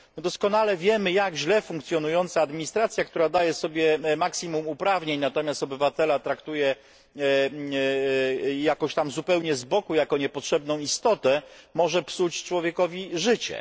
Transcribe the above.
My doskonale wiemy, jak źle funkcjonująca administracja, która daje sobie maksimum uprawnień, natomiast obywatela traktuje jakoś tam zupełnie z boku jako niepotrzebną istotę, może psuć człowiekowi życie.